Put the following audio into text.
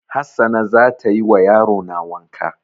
Hassana za tayi wa yarona wanka